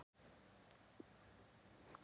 Mér er sama um alla orma, slor og fisklykt.